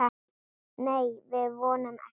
Nei, við vonum ekki.